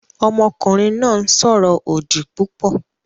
Ọmọkùnrin náà ń sọ̀rọ̀ òdì púpọ̀